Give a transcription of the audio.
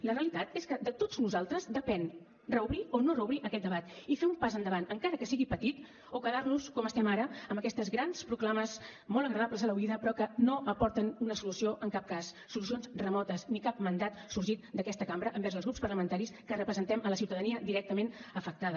la realitat és que de tots nosaltres depèn reobrir o no reobrir aquest debat i fer un pas endavant encara que sigui petit o quedar nos com estem ara amb aquestes grans proclames molt agradables a l’oïda però que no aporten una solució en cap cas solucions remotes ni cap mandat sorgit d’aquesta cambra envers els grups parlamentaris que representem la ciutadania directament afectada